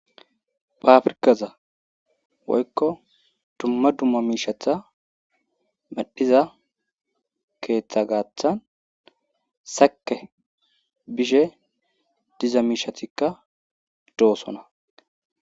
baafrkaza woykko dumma dumma miishatha madhiza keeththa gaaththan sake bishe diza miishathikka doosona